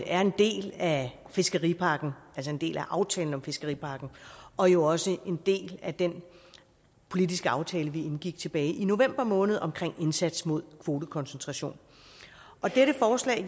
er en del af fiskeripakken altså en del af aftalen om fiskeripakken og jo også en del af den politiske aftale vi indgik tilbage i november måned omkring en indsats mod kvotekoncentration og dette forslag